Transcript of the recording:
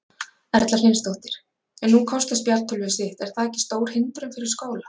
Erla Hlynsdóttir: En nú kosta spjaldtölvur sitt, er það ekki stór hindrun fyrir skóla?